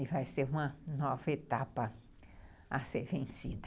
E vai ser uma nova etapa a ser vencida.